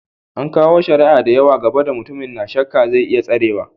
An kawo shari'a da yawa gaba da mutumin, n'na shakka zai iya tserewa.